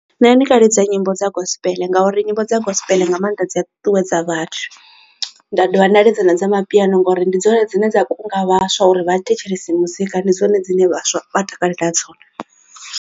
Nṋe ndi nga lidza nyimbo dza gospel ngauri nyimbo dza gospel nga maanḓa dzi a ṱuwedza vhathu nda dovha nda lidza na dza mapiano ngori ndi dzone dzine dza kunga vhaswa uri vha thetshelese muzika ndi dzone dzine vhaswa vha takalela dzone.